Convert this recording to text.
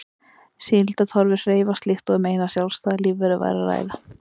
Síldartorfur hreyfast líkt og um eina sjálfstæða lífveru væri að ræða.